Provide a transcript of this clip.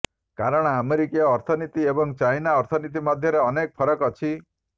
କାରଣ ଆମେରିକୀୟ ଅର୍ଥନୀତି ଏବଂ ଚାଇନା ଅର୍ଥନୀତି ମଧ୍ୟରେ ଅନେକ ଫରକ ଅଛି